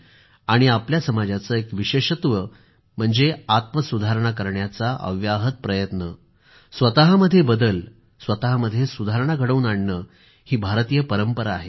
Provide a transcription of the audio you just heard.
आणि आपल्या समाजाचे एक विशेषत्व म्हणजे आत्मसुधारणा करण्याचा अव्याहत प्रयत्न स्वतःमध्ये बदल सुधारणा घडवून आणणे ही भारतीय परंपरा आहे